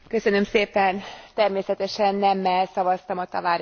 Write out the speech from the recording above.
Természetesen nemmel szavaztam a Tavares jelentésre.